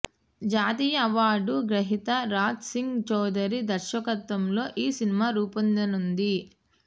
జాతీయ అవార్డు గ్రహీత రాజ్ సింగ్ చౌదరి దర్శకత్వంలో ఈ సినిమా రూపొందనుంది